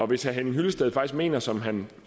hvis herre henning hyllested faktisk mener som han